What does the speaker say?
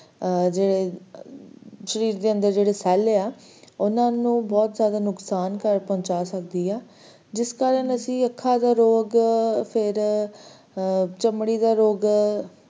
ਆਹ ਜੇ ਸ਼ਰੀਰ ਦੇ ਅੰਦਰ ਜਿਹੜੇ cell ਆ ਓਹਨਾ ਨੂੰ ਬਹੁਤ ਜ਼ਯਾਦਾ ਨੁਕਸਾਨ ਪਹੁੰਚ ਸਕਦੀ ਆ ਜਿਸ ਕਰਕੇ ਸਾਨੂੰ ਅੱਖਾਂ ਦੇ ਰੋਗ ਫਿਰ ਚਮੜੀ ਦੇ ਰੋਗ,